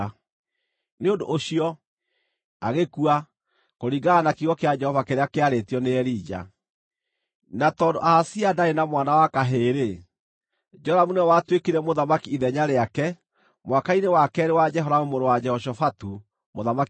Nĩ ũndũ ũcio agĩkua, kũringana na kiugo kĩa Jehova kĩrĩa kĩarĩtio nĩ Elija. Na tondũ Ahazia ndaarĩ na mwana wa kahĩĩ-rĩ, Joramu nĩwe watuĩkire mũthamaki ithenya rĩake mwaka-inĩ wa keerĩ wa Jehoramu mũrũ wa Jehoshafatu mũthamaki wa Juda.